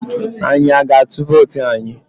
Anyi a ga-atụ vootu anyi?